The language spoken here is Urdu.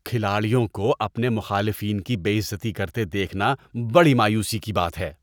کھلاڑیوں کو اپنے مخالفین کی بے عزتی کرتے دیکھنا بڑی مایوسی کی بات ہے۔